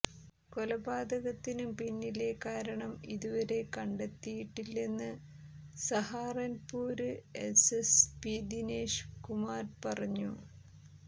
കൊലപാതകത്തിന് പിന്നിലെ കാരണം ഇതുവരെ കണ്ടെത്തിയിട്ടില്ലെന്ന് സഹാറന്പൂര് എസ്എസ്പി ദിനേശ് കുമാര് പറഞ്ഞു